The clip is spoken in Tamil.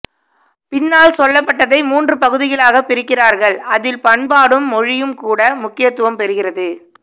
பின்னால் சொல்லப்பட்டதை மூன்று பகுதிகளாக பிரிக்கிறார்கள் அதில் பண்பாடும் மொழியும் கூட முக்கியத்துவம் பெறுகிறது